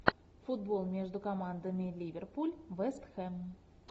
футбол между командами ливерпуль вест хэм